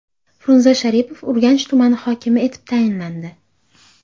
Frunze Sharipov Urganch tumani hokimi etib tayinlandi.